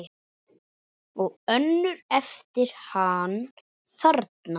Og önnur eftir hann þarna